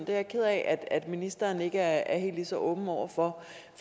er jeg ked af at ministeren ikke er helt lige så åben over for